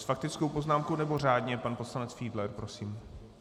S faktickou poznámkou, nebo řádně pan poslanec Fiedler prosím?